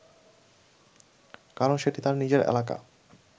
কারণ সেটি তার নিজের এলাকা